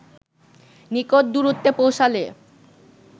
নিকট দূরত্বে পৌঁছালে